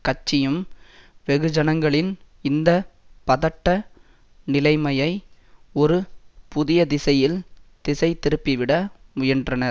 கட்சியும் வெகுஜனங்களின் இந்த பதட்ட நிலைமையை ஒரு புதிய திசையில் திசைதிருப்பிவிட முயன்றனர்